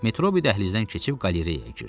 Metrobi dəhlizdən keçib qalereyaya girdi.